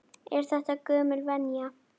Er þetta gömul venja?